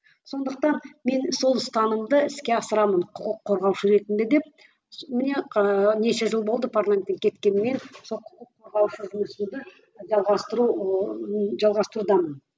сондықтан мен сол ұстанымды іске асырамын құқық қорғаушы ретінде деп міне неше жыл болды парламенттен кеткеніме сол құқық қорғаушы жұмысымды жалғастыру ыыы жалғастырудамын